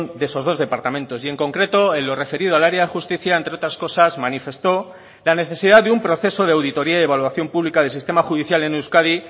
de esos dos departamentos y en concreto en lo referido al área de justicia entre otras cosas manifestó la necesidad de un proceso de auditoría y evaluación pública del sistema judicial en euskadi